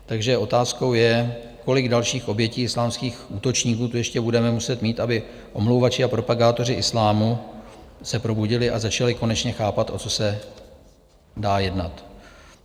Takže otázkou je, kolik dalších obětí islámských útočníků tu ještě budeme muset mít, aby omlouvači a propagátoři islámu se probudili a začali konečně chápat, o co se dá jednat.